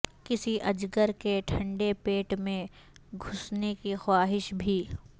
کسی اجگر کے ٹھنڈے پیٹ میں گھسنے کی خواہش بھی